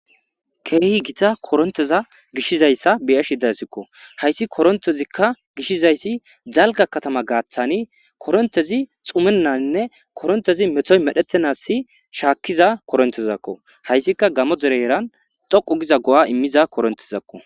Kehi gitta korinteza gishidayissa beyashe dayisiko hayiss koritezi giziyasi daligga katama gathani korintezi xumananinne metoyi medhetenani nagidda koritezakko hayiskka gammo derezani dhoqu gidda go'a imiza koritntezako